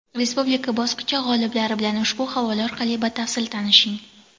Respublika bosqichi g‘oliblari bilan ushbu havola orqali batafsil tanishing!.